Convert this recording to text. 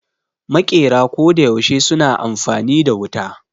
Maƙera koda yaushe suna amfani da wuta